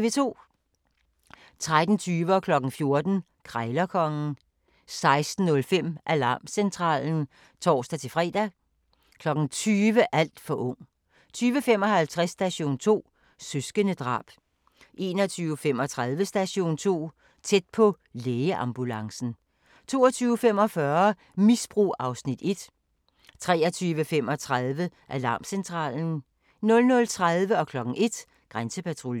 13:20: Krejlerkongen 14:00: Krejlerkongen 16:05: Alarmcentralen (tor-fre) 20:00: Alt for ung 20:55: Station 2: Søskendedrab 21:35: Station 2: Tæt på - lægeambulancen 22:45: Misbrug (Afs. 1) 23:35: Alarmcentralen 00:30: Grænsepatruljen 01:00: Grænsepatruljen